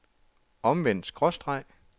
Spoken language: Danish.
omvendt skråstreg